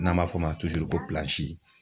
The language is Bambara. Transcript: N'an b'a fɔ o ma